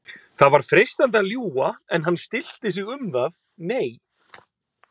Það var freistandi að ljúga en hann stillti sig um það: Nei